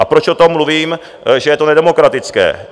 A proč o tom mluvím, že je to nedemokratické?